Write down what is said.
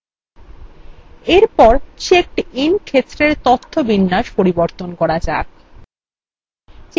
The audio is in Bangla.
এরপর checked in ক্ষেত্রের তথ্য বিন্যাস পরিবর্তন করা যাক